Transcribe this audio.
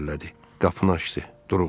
Qapını açdı, duruxdu.